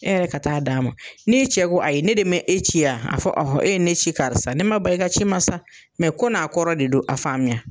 E yɛrɛ ka taa d'a ma ni cɛ ko ayi ne de me e ci a a fɔɔ ɔhɔ e ye ne ci karisa ne ma ban i ka ci ma sa mɛ ko n'a kɔrɔ de don a faamuya